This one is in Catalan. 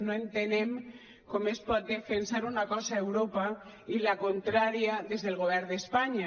no entenem com es pot defensar una cosa a europa i la contrària des del govern d’espanya